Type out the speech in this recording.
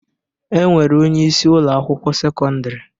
E nwere onyeisi Ụlọ akwụkwọ sekọndrị